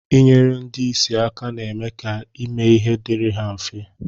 Inyere ndi isi aka na-eme ka ime ihe diri ha mfe